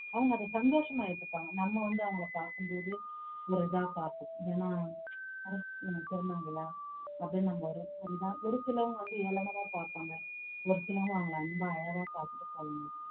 அவங்க அதை சந்தோஷமா ஏத்துப்பாங்க நம்ம வந்து அவங்களைப் பாக்கும்போது ஒரு இதா பாப்போம் என்னனா திருநங்கையை அப்படின்னு நம்ம ஒரு ஒரு இதா ஒரு சிலவங்க வந்து ஏளனமா பார்ப்பாங்க ஒரு சிலவங்க அவங்களை அன்பா அழகா